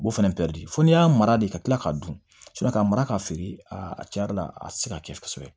Bo fana fɔ n'i y'a mara de ka tila k'a dun k'a mara ka feere a tiɲɛ yɛrɛ la a tɛ se ka kɛ kosɛbɛ